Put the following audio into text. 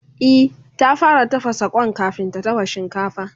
E, ta fara tafasa Kwan kamin ta dafa shinkafa